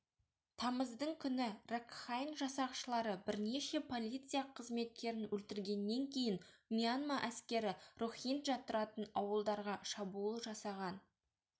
тамыздың күні ракхайн жасақшылары бірнеше полиция қызметкерін өлтіргеннен кейін мьянма әскері рохинджа тұратын ауылдарға шабуыл жасаған